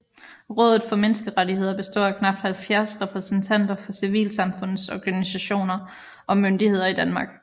Rådet for Menneskerettigheder består af knapt 70 repræsentanter for civilsamfundsorganisationer og myndigheder i Danmark